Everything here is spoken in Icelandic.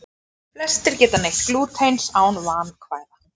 Flestir geta neytt glútens án vandkvæða.